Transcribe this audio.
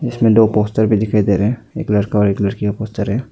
इसमें दो पोस्टर भी दिखाई दे रहे हैं एक लड़का और एक लड़की का पोस्टर है।